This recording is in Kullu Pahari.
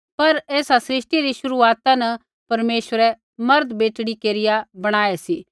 पर ऐसा सृष्टि री शुरूआता न परमेश्वरै मर्दबेटड़ी केरिया बणायै सी